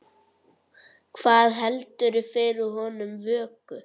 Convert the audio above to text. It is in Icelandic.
Hvað heldur fyrir honum vöku?